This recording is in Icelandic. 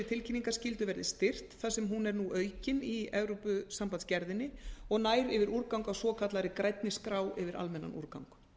tilkynningarskyldu verði styrkt þar sem hún er nú aukin í evrópusambands gerðinni og nær yfir úrgang á svokallaðri grænni skrá yfir almennan úrgang